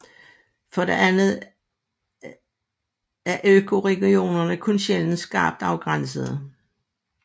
For det andet er økoregionerne kun sjældent skarpt afgrænsede